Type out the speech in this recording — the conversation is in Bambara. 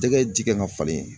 Jɛgɛ ji kan ka falen